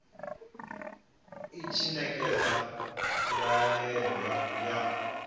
i tshi ṋekedza ndaela ya